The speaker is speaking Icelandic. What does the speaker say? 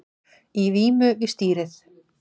Í vímu við stýrið